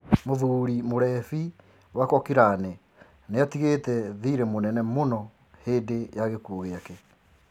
Mũthuri mũrebi wa Cochrane niatigite thire mũnene mũno hindi ya gikuo giake.